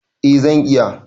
A zan iya